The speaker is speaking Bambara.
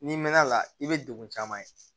N'i mɛnna a la i bɛ degun caman ye